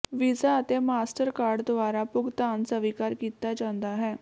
visa ਅਤੇ Mastercard ਦੁਆਰਾ ਭੁਗਤਾਨ ਸਵੀਕਾਰ ਕੀਤਾ ਜਾਂਦਾ ਹੈ